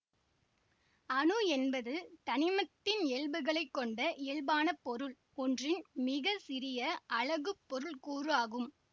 அணு என்பது தனிமத்தின் இயல்புகளை கொண்ட இயல்பான பொருள் ஒன்றின் மிக சிறிய அலகுப் பொருள் கூறு ஆகும்